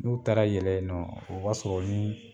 N'u taara yɛlɛ yen nɔ o b'a sɔrɔ ni